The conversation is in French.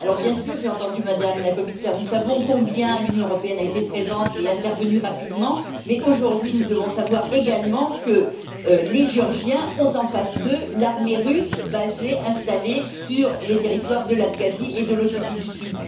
Évidemment j'ai entendu, Madame la Commissaire nous savons combien l'Union européenne a été présente et est intervenue rapidement, mais aujourd'hui nous devons savoir également que les Géorgiens ont, face à eux, l'armée russe, basée, installée sur les territoires de l'Abkhazie et de l'Ossétie du Sud.